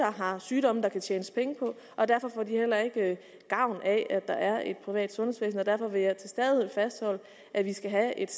har sygdomme der kan tjenes penge på og derfor får de heller ikke gavn af at der er et privat sundhedsvæsen og derfor vil jeg til stadighed fastholde at vi skal have et